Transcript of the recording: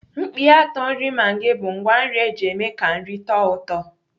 Mkpịatọ nri maggi bụ ngwá nri eji eme ka nri tọọ ụtọ.